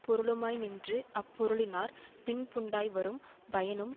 பொருளுமாய்நின்று அப்பொருளினாற் பின்புண்டாய் வரும் பயனும்